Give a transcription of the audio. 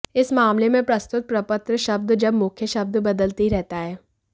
इस मामले में प्रस्तुत प्रपत्र शब्द जब मुख्य शब्द बदलते ही रहता है